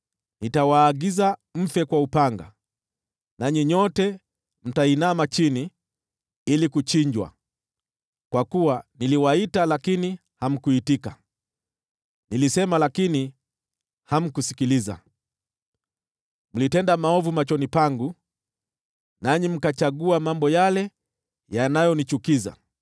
nitawaagiza mfe kwa upanga, nanyi nyote mtainama chini ili kuchinjwa; kwa kuwa niliwaita lakini hamkuitika, nilisema lakini hamkusikiliza. Mlitenda maovu machoni pangu, nanyi mkachagua mambo yale yanayonichukiza.”